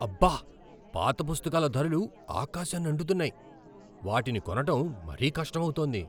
అబ్బా! పాత పుస్తకాల ధరలు ఆకాశాన్నంటుతున్నాయి. వాటిని కొనటం మరీ కష్టమవుతోంది.